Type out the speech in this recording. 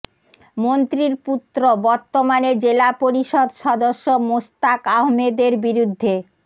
মন্ত্রীর পুত্র বর্তমানে জেলা পরিষদ সদস্য মোস্তাক আহমেদের বিরুদ্ধে